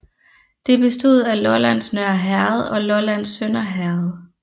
Det bestod af Lollands Nørre Herred og Lollands Sønder Herred